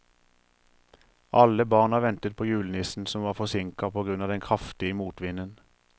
Alle barna ventet på julenissen, som var forsinket på grunn av den kraftige motvinden.